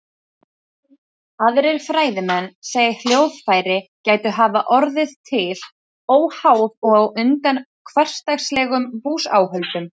Aðrir fræðimenn segja að hljóðfæri gætu hafa orðið til óháð og á undan hversdagslegum búsáhöldum.